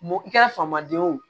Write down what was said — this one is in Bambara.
Mɔ i kɛra famaden ye o